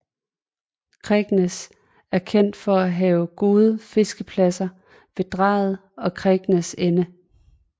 Kegnæs er kendt for at have gode fiskepladser ved Drejet og Kegnæs Ende